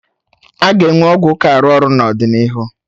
Aga enwe ọgwụ ka arụ ọrụ n'ọdịnihu